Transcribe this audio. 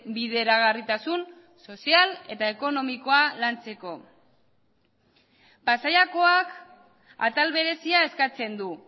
bideragarritasun sozial eta ekonomikoa lantzeko pasaiakoak atal berezia eskatzen du